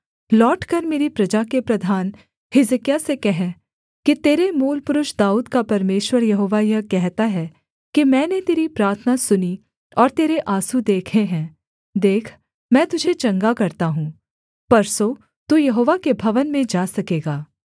लौटकर मेरी प्रजा के प्रधान हिजकिय्याह से कह कि तेरे मूलपुरुष दाऊद का परमेश्वर यहोवा यह कहता है कि मैंने तेरी प्रार्थना सुनी और तेरे आँसू देखे हैं देख मैं तुझे चंगा करता हूँ परसों तू यहोवा के भवन में जा सकेगा